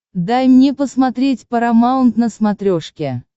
дай мне посмотреть парамаунт на смотрешке